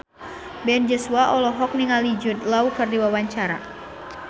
Ben Joshua olohok ningali Jude Law keur diwawancara